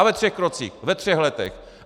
A ve třech krocích, ve třech letech.